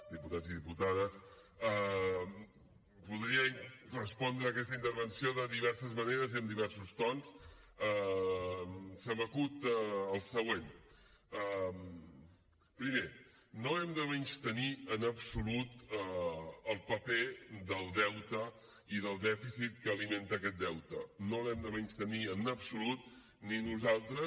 diputats i diputades podria respondre aquesta intervenció de diverses maneres i amb diversos tons se m’acut el següent primer no hem de menystenir en absolut el paper del deute i del dèficit que alimenta aquest deute no l’hem de menystenir en absolut ni nosaltres